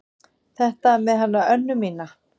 Þetta með hana Önnu mína.